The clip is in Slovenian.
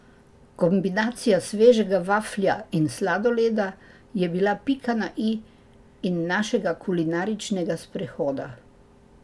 Kombinacija svežega vaflja in sladoleda je bila pika na i našega kulinaričnega sprehoda.